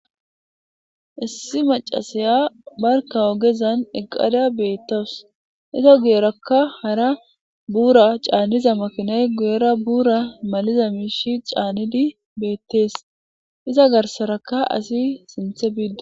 issi macasaya barka ogezan eqada beettows iza guyerakka hara buura caaniza makinay guyera buura maliza miishi caanidi beettees iza garsaraka asi sinthe biiddo